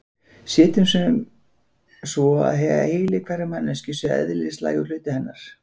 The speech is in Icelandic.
Setjum sem svo að heili hverrar manneskju sé eðlislægur hluti hennar.